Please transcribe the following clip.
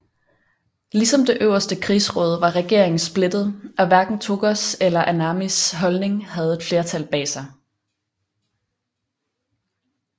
Ligesom det øverste krigsråd var regeringen splittet og hverken Tōgōs eller Anamis holdning havde et flertal bag sig